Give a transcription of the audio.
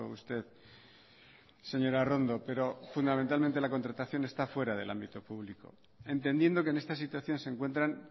usted señora arrondo pero fundamentalmente la contratación está fuera del ámbito público entendiendo que en esta situación se encuentran